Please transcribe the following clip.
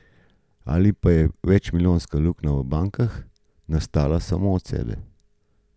Ali pa je večmilijardna luknja v bankah nastala sama od sebe?